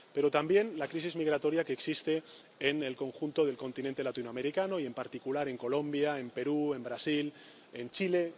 Pero tampoco de la crisis migratoria que existe en el conjunto del continente latinoamericano y, en particular, en Colombia, en Perú, en Brasil, en Chile...,